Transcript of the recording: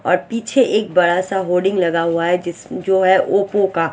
और पीछे एक बड़ासा होल्डिंग लगा हुआ है जिस जो है ओप्पो का।